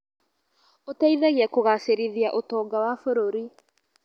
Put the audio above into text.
Ũteithagia kũgacĩrithia ũtonga wa bũrũri.